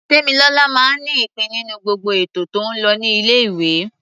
Tèmilọlá máa ń nípìn-ín nínú gbogbo ètò tó ń lọ ní ilé-ìwé.